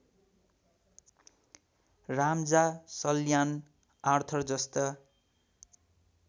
राम्जा Salyan आर्थरजस्ता